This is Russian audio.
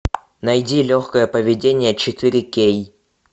найди легкое поведение четыре кей